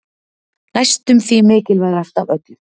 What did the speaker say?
Næstum því mikilvægast af öllu.